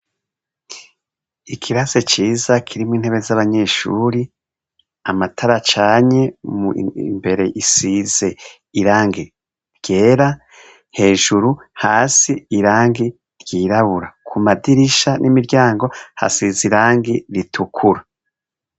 Ikirasi ciza kirimwo intebe z'abanyeshure, amatara acanye, imbere isize irangi ryera, hejuru, hasi irangi ryirabura, Ku madirisha n'imiryango, hasize irangi ritukura.